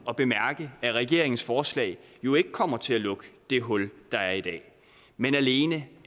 at bemærke at regeringens forslag jo ikke kommer til at lukke det hul der er i dag men alene